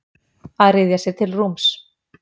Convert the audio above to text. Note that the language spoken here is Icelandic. Að ryðja sér til rúms